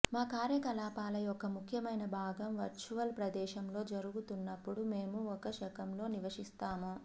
మా కార్యకలాపాల యొక్క ముఖ్యమైన భాగం వర్చువల్ ప్రదేశంలో జరుగుతున్నప్పుడు మేము ఒక శకంలో నివసిస్తాము